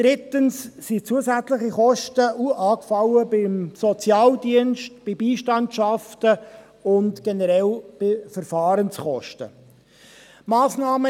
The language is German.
Drittens sind zusätzliche Kosten beim Sozialdienst, bei Beistandschaften und generell bei Verfahrenskosten angefallen.